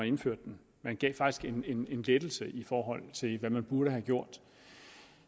indførte den man gav faktisk en en lettelse i forhold til hvad man burde have gjort